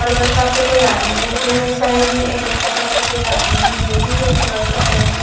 और bus stop पे कोई आदमी बैठे है साइड में एक बचा पकड़ के एक आदमी है लेडिज है सलवार सूट पहन के।